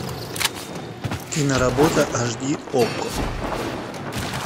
киноработа аш ди окко